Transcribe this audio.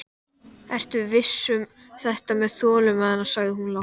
Ertu viss um þetta með þolinmæðina, sagði hún lágt.